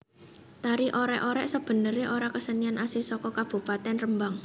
Tari Orèk orèk sebenerè ora kesenian asli saka Kabupatèn Rembang